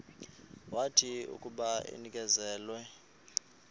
wathi akuba enikezelwe